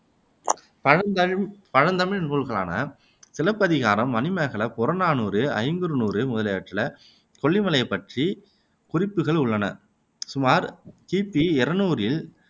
பழந்தமிழ் பழந்தமிழ் நூல்களான சிலப்பதிகாரம், மணிமேகலை, புறநானூறு, ஐங்குறுநூறு முதலியவற்றில கொல்லிமலையைப் பற்றிய குறிப்புகள் உள்ளன சுமார் கி. பி இருநூறில்